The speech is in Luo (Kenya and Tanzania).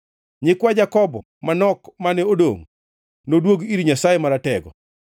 Nyikwa Jakobo manok mane odongʼ noduog ir Nyasaye Maratego.